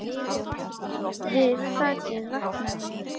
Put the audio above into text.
Við það vaknaði ég.